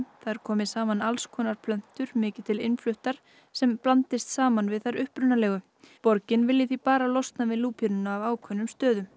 þar komi saman alls konar plöntur mikið til innfluttar sem blandist saman við þær upprunalegu borgin vilji því bara losna við lúpínuna af ákveðnum stöðum